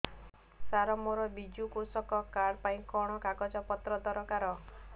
ସାର ମୋର ବିଜୁ କୃଷକ କାର୍ଡ ପାଇଁ କଣ କାଗଜ ପତ୍ର ଦରକାର